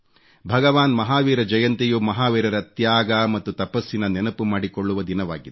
ಭಗವಾನ್ ಮಹಾವೀರ ಜಯಂತಿಯು ಮಹಾವೀರರ ತ್ಯಾಗ ಮತ್ತು ತಪಸ್ಸಿನ ನೆನಪು ಮಾಡಿಕೊಳ್ಳುವ ದಿನವಾಗಿದೆ